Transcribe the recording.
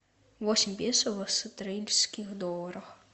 восемь песо в австралийских долларах